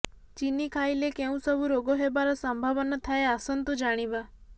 ଚିନି ଖାଇଲେ କେଉଁ ସବୁ ରୋଗ ହେବାର ସମ୍ଭାବନା ଥାଏ ଆସନ୍ତୁ ଜାଣିବା